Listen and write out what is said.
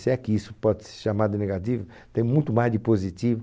Se é que isso pode ser chamado negativo, tem muito mais de positivo.